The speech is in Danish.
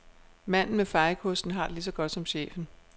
Manden med fejekosten har det lige så godt som chefen.